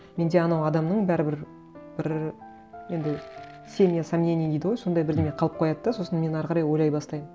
менде анау адамның бәрібір бір енді семя сомнений дейді ғой сондай бірдеңе қалып қояды да сосын мен ары қарай ойлай бастаймын